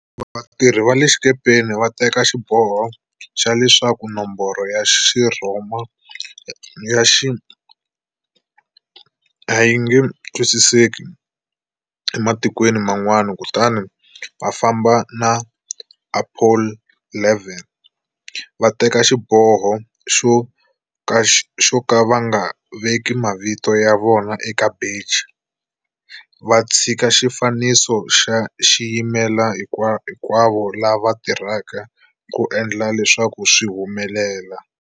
Vatirhi va le xikepeni va teke xiboho xa leswaku nomboro ya Xirhoma ya XI a yi nge twisiseki ematikweni man'wana, kutani va fambe na "Apollo 11", Va teke xiboho xo ka va nga veki mavito ya vona eka beji, va tshika xifaniso xi yimela" Hinkwavo lava tirheke ku endla leswaku swi humelela."